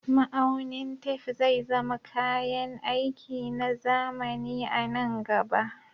Ma'aunin tef zai zama kayan aiki na zamani a nan gaba